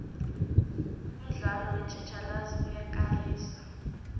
umdlalo wetjhatjhalazi uyakarisa